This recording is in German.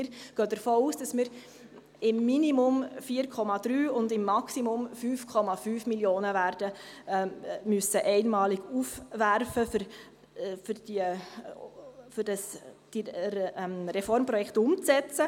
Wir gehen davon aus, dass wir im Minimum 4,3 Mio. Franken und im Maximum 5,5 Mio. Franken einmalig werden aufwerfen müssen, um die Reformprojekte umzusetzen.